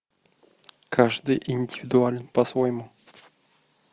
каждый индивидуален по своему